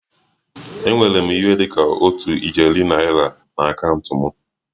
Enwere m ihe dị ka otu ijeri naira na akaụntụ m